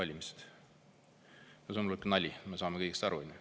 See on nali, me saame kõik sellest aru.